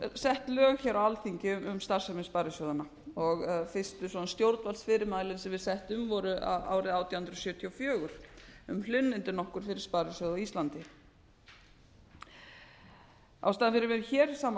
sett lög hér á alþingi um starfsemi sparisjóðanna og fyrstu svona stjórnvaldsfyrirmæli sem við settum voru árið átján hundruð sjötíu og fjögur um hlunnindi nokkur fyrir sparisjóði á íslandi ástæðan fyrir því að við erum hér saman